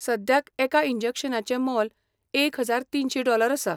सद्याक एका इंजेक्शनाचें मोल एक हजार तीनशी डॉलर आसा.